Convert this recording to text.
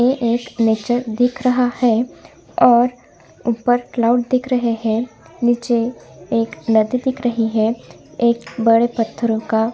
ये एक नेचर दिख रहा है और ऊपर क्लाउड दिख रहे है निचे एक नदी दिख रही है एक बड़े पत्थरो का